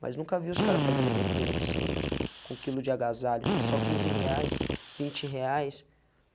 Mas nunca vi os caras fazer um evento beneficiente com quilo de agasalho, só quinze reais, vinte reais.